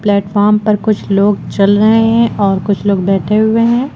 Platform पर कुछ लोग चल रहे हैं और कुछ लोग बैठे हुए हैं।